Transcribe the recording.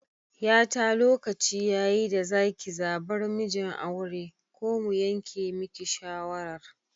Yata lokaci yayi da zaki zabar mijin aure ko mu yanke miki shawarar